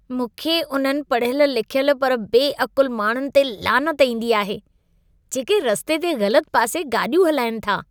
मूंखे उन्हनि पढ़ियल लिखियल पर बेअक़ुल माण्हुनि ते लानत ईंदी आहे, जेके रस्ते ते ग़लत पासे गाॾियूं हलाईनि था।